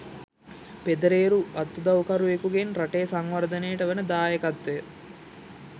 පෙදරේරරු අත්උදවුකරුවෙකුගෙන් රටේ සංවර්ධනයට වන දායකත්වය